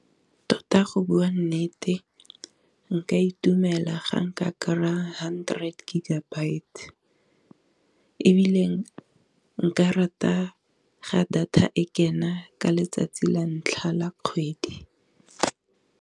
Tota go bua nnete nka itumela ga nka kry-a hundred gigabyte, e biileng nka rata ga data e kena ka letsatsi la ntlha la kgwedi.